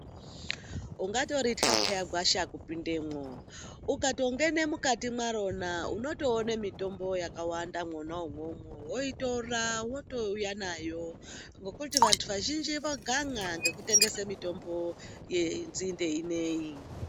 Ungatoritya pheya gwasha kupindemwo, ukatongene mukati mwarona u otoone mitombo yakawanda mwona imwomwo woitora wotouya nayo ngokuti vantu vazhinji vagan'a ngekutengese mitombo yenzinde ineyi.